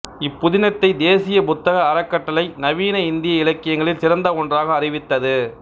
இப் புதினத்தைத் தேசிய புத்தக அறக்கட்டளை நவீன இந்திய இலக்கியங்களில் சிறந்த ஒன்றாக அறிவித்தது